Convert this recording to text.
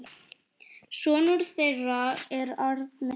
Sonur þeirra er Árni.